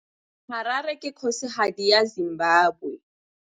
Harare ke kgosigadi ya Zimbabwe.